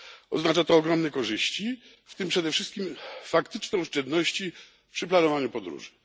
Oznacza to ogromne korzyści, w tym przede wszystkim faktyczne oszczędności przy planowaniu podróży.